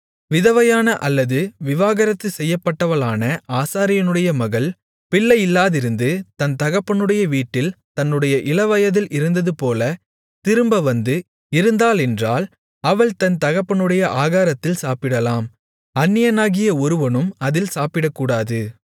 விதவையான அல்லது விவாகரத்து செய்யப்பட்டவளான ஆசாரியனுடைய மகள் பிள்ளை இல்லாதிருந்து தன் தகப்பனுடைய வீட்டில் தன்னுடைய இளவயதில் இருந்ததுபோல திரும்பவந்து இருந்தாளென்றால் அவள் தன் தகப்பனுடைய ஆகாரத்தில் சாப்பிடலாம் அந்நியனாகிய ஒருவனும் அதில் சாப்பிடக்கூடாது